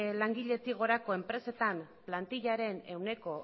langiletik gorako enpresetan plantillaren ehuneko